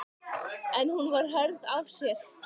En hún var hörð af sér.